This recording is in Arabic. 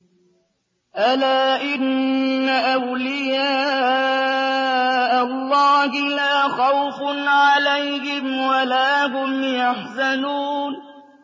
أَلَا إِنَّ أَوْلِيَاءَ اللَّهِ لَا خَوْفٌ عَلَيْهِمْ وَلَا هُمْ يَحْزَنُونَ